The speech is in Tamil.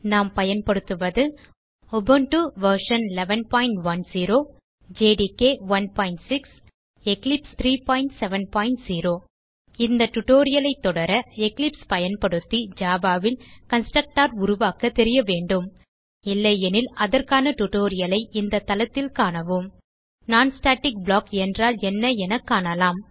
நாம் பயன்படுத்துவது Ubuntu version 1110 JDK 16 Eclipse IDE 370 இந்த டியூட்டோரியல் ஐ தொடர எக்லிப்ஸ் பயன்படுத்தி Javaல் கன்ஸ்ட்ரக்டர் உருவாக்க தெரிய வேண்டும் இல்லையெனில் அதற்கான டியூட்டோரியல் ஐ இந்த தளத்தில் காணவும் httpwwwspoken tutorialஆர்க் non ஸ்டாட்டிக் ப்ளாக் என்றால் என்ன என காணலாம்